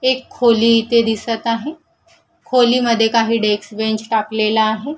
एक खोली इथे दिसत आहे खोलीमध्ये काही डेक्स बेंच टाकलेला आहे.